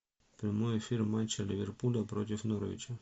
прямой эфир матча ливерпуля против норвича